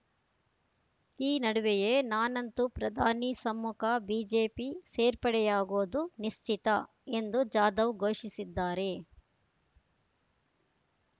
ಈ ನಡುವೆಯೇ ನಾನಂತು ಪ್ರಧಾನಿ ಸಮ್ಮುಖ ಬಿಜೆಪಿ ಸೇರ್ಪಡೆಯಾಗೋದು ನಿಶ್ಚಿತ ಎಂದು ಜಾಧವ್‌ ಘೋಷಿಸಿದ್ದಾರೆ